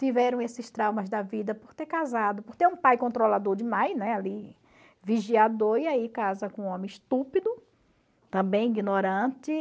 tiveram esses traumas da vida por ter casado, por ter um pai controlador demais, né, ali vigiador, e aí casa com um homem estúpido, também ignorante.